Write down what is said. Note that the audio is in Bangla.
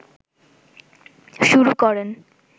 শুরু করেন